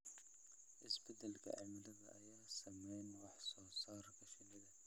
Isbeddelka cimilada ayaa saameeya wax soo saarka shinnida.